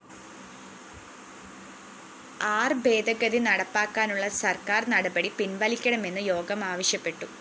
ആര്‍ ഭേദഗതി നടപ്പാക്കാനുള്ള സര്‍ക്കാര്‍ നടപടി പിന്‍വലിക്കണമെന്ന് യോഗം ആവശ്യപ്പെട്ടു